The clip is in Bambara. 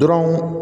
Dɔrɔn